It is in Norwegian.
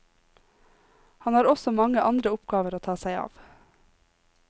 Han har også mange andre oppgaver å ta seg av.